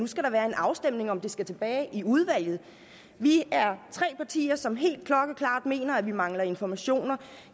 skal være en afstemning om om det skal tilbage i udvalget vi er tre partier som helt klokkeklart mener at vi mangler informationer